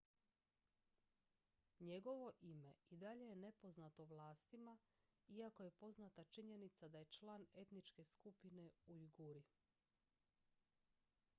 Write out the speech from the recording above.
njegovo ime i dalje je nepoznato vlastima iako je poznata činjenica da je član etničke skupine ujguri